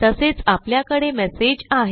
तसेच आपल्याकडे मेसेज आहे